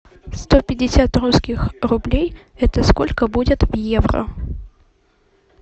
сто пятьдесят русских рублей это сколько будет в евро